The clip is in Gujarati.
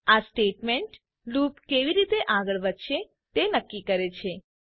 આ સ્ટેટમેન્ટ લૂપ કેવી રીતે આગળ વધશે તે નક્કી કરે છે